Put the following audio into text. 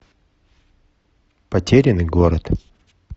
потерянный город